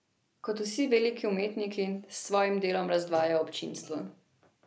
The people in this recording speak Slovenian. Kot vsi veliki umetniki s svojim delom razdvaja občinstvo.